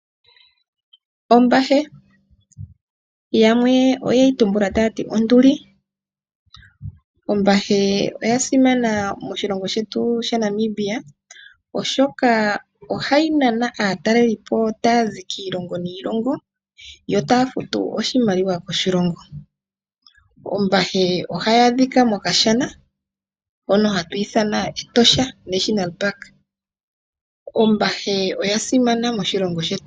Ombahe. Yamwe oye yi tumbula taya ti onduli. Ombahe oya simana moshilongo shetu shaNamibia, oshoka ohayi nana aatalelipo taya zi kiilongo niilongo yo taya futu oshimaliwa koshilongo. Ombahe ohayi adhika mokashana hono hatu ithana Etosha National Park. Ombahe oya simana moshilongo shetu.